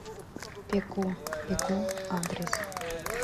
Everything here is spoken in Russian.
пеку пеку адрес